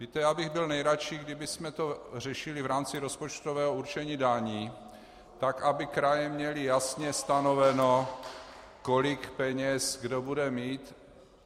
Víte, já bych byl nejradši, kdybychom to řešili v rámci rozpočtového určení daní tak, aby kraje měly jasně stanoveno, kolik peněz kdo bude mít.